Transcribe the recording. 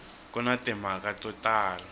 ku na timhaka to tala